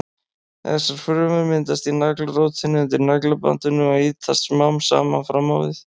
Þessar frumur myndast í naglrótinni undir naglabandinu og ýtast smám saman fram á við.